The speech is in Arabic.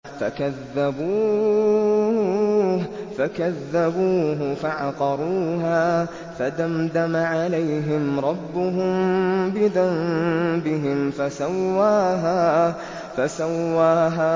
فَكَذَّبُوهُ فَعَقَرُوهَا فَدَمْدَمَ عَلَيْهِمْ رَبُّهُم بِذَنبِهِمْ فَسَوَّاهَا